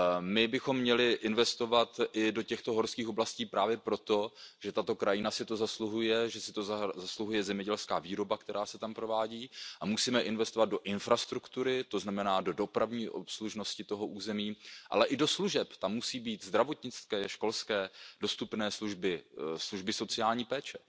My bychom měli investovat i do těchto horských oblastí právě proto, že tato krajina si to zasluhuje, že si to zasluhuje zemědělská výroba, která se tam provádí, a musíme investovat do infrastruktury, to znamená do dopravní obslužnosti toho území, ale i do služeb. Tam musí být dostupné zdravotnické, školské služby, služby sociální péče.